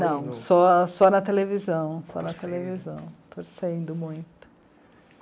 só na televisão, só na televisão, torcendo muito.